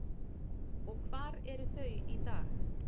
En hvar eru þau í dag?